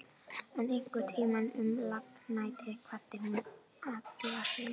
En einhvern tíma um lágnættið kvaddi hún Alla sinn.